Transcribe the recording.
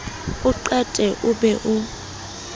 o qeta o be o